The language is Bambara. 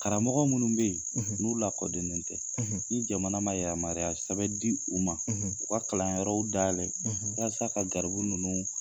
Karamɔgɔ minnu bɛ ye n'u lakodɔnen tɛ ni jamana man yamaruya sɛbɛn d'u ma u ka kalanyɔrɔw dayɛlɛ walasa ka garibu ninnu.